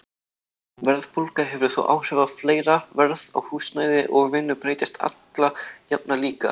Verðbólga hefur þó áhrif á fleira, verð á húsnæði og vinnu breytist alla jafna líka.